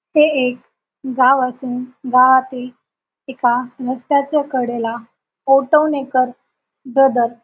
हे एक गाव असून गावातील एका रस्त्याच्या कडेला ओटोणेकर ब्रदरस् --